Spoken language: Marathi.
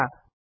निवडा